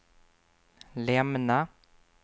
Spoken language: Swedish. lämna